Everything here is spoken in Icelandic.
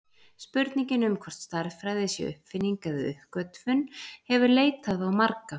Spurningin um hvort stærðfræði sé uppfinning eða uppgötvun hefur leitað á marga.